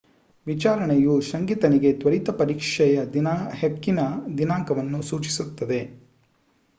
ವಿಚಾರಣೆಯು ಶಂಕಿತನಿಗೆ ತ್ವರಿತ ಪರೀಕ್ಷೆಯ ಹಕ್ಕಿನ ದಿನಾಂಕವನ್ನು ಸೂಚಿಸುತ್ತದೆ